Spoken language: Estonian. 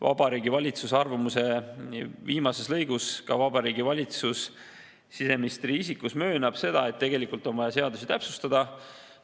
Vabariigi Valitsuse arvamuse viimases lõigus ka Vabariigi Valitsus siseministri isikus möönab seda, et tegelikult on vaja seadusi täpsustada.